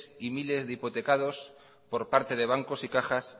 y miles de hipotecados por parte de bancos y cajas